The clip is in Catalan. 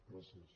gràcies